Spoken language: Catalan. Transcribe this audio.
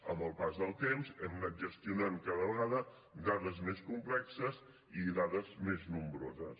amb el pas del temps hem anat gestionant cada vegada dades més complexes i dades més nombroses